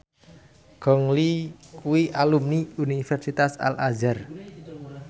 Gong Li kuwi alumni Universitas Al Azhar